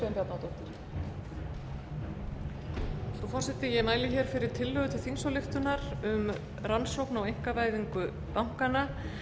frú forseti ég mæli fyrir tillögu til þingsályktunar um rannsókn á einkavæðingu bankanna